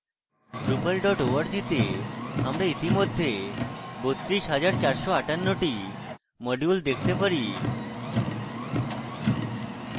drupal org তে আমরা ইতিমধ্যে 32458 টি modules দেখতে পারি